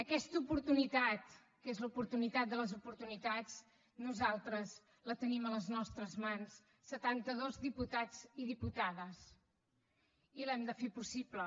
aquesta oportunitat que és l’oportunitat de les oportunitats nosaltres la tenim a les nostres mans setanta dos diputats i diputades i l’hem de fer possible